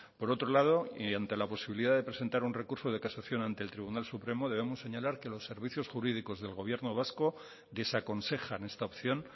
por otro lado y ante la posibilidad de presentar un recurso de casación ante el tribunal supremo debemos señalar que los servicios jurídicos del gobierno vasco desaconsejan esta opción